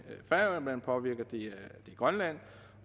påvirker grønland